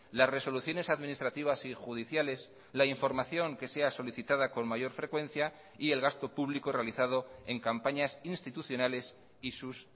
las resoluciones administrativas y judiciales la información que sea solicitada con mayor frecuencia y el gasto público realizado en campañas institucionales y sus